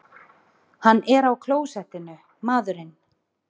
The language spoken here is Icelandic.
Hann er á klósettinu, maðurinn!